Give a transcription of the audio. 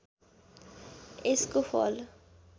यसको फल